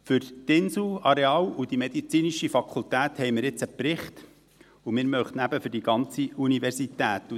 Für das Inselareal und die medizinische Fakultät haben wir jetzt einen Bericht, und wir möchten ihn eben für die ganze Universität.